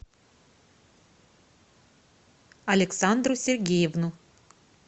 александру сергеевну